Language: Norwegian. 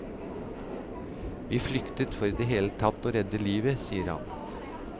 Vi flyktet for i det hele tatt å redde livet, sier han.